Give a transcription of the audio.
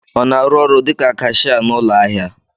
Ọ na-arụ ọrụ dịka kashia n'ụlọ ahịa?